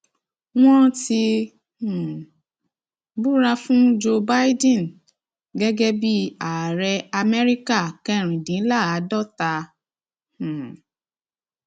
wọn ti um búra fún joe bìdẹn gẹgẹ bíi ààrẹ amẹríkà kẹrìndínláàádọta um